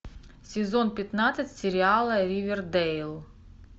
сезон пятнадцать сериала ривердейл